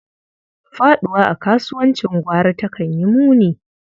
Faɗuwa a kasuwancin gwari takan yi muni.